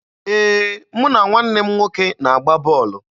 Ee, mụ na nwanne m nwoke na-agba bọọlụ